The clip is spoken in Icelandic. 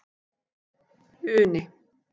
Uni